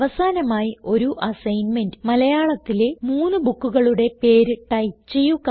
അവസാനമായി ഒരു അസൈൻമെന്റ് മലയാളത്തിലെ മൂന്ന് ബുക്കുകളുടെ പേര് ടൈപ്പ് ചെയ്യുക